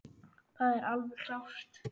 Það er alveg klárt.